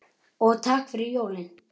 Og takk fyrir jólin.